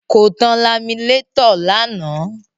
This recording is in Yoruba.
Kò tan laminétọ̀ lánàá.